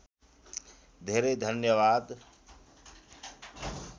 धेरै धन्यवाद